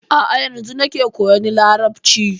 A'a yanzun nake koyan Larabci.